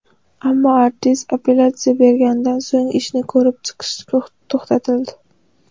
Ammo artist apellyatsiya berganidan so‘ng ishni ko‘rib chiqish to‘xtatildi.